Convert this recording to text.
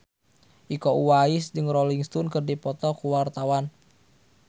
Iko Uwais jeung Rolling Stone keur dipoto ku wartawan